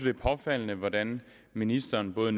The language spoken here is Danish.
er påfaldende hvordan ministeren både